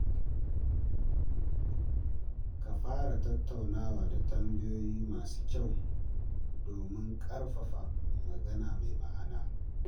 Ka fara tattaunawa da tambayoyi masu kyau domin ƙarfafa magana mai ma'ana.